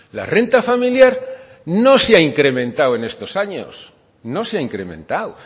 la renta familiar no se ha incrementado en estos años no se ha incrementado